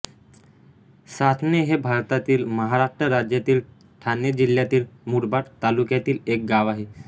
सासणे हे भारतातील महाराष्ट्र राज्यातील ठाणे जिल्ह्यातील मुरबाड तालुक्यातील एक गाव आहे